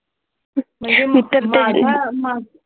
मित्रां